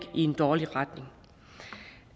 i en dårlig retning og